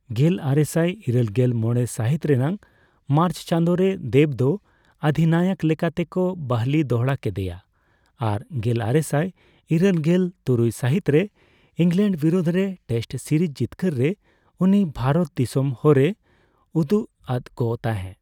ᱜᱮᱞᱟᱨᱮᱥᱟᱭ ᱤᱨᱟᱹᱞ ᱜᱮᱞ ᱢᱚᱲᱮ ᱥᱟᱦᱤᱛ ᱨᱮᱱᱟᱜ ᱢᱟᱨᱪ ᱪᱟᱸᱫᱚ ᱨᱮ ᱫᱮᱵᱽ ᱫᱚ ᱚᱫᱷᱤᱱᱟᱭᱚᱠ ᱞᱮᱠᱟ ᱛᱮᱠᱚ ᱵᱟᱹᱦᱞᱤ ᱫᱚᱦᱲᱟ ᱠᱮᱫᱮᱭᱟ ᱟᱨ ᱜᱮᱞᱟᱨᱮᱥᱟᱭ ᱤᱨᱟᱹᱞᱜᱮᱞ ᱛᱩᱨᱩᱭ ᱥᱟᱦᱤᱛ ᱨᱮ ᱤᱝᱞᱮᱱᱰ ᱵᱤᱨᱩᱫᱷ ᱨᱮ ᱴᱮᱥᱴ ᱥᱤᱨᱤᱡ ᱡᱤᱛᱠᱟᱹᱨ ᱨᱮ ᱩᱱᱤ ᱵᱷᱟᱨᱚᱛ ᱫᱤᱥᱟᱹᱢ ᱦᱚᱨᱮ ᱩᱫᱩᱜ ᱟᱫ ᱠᱚ ᱛᱟᱦᱮᱸ᱾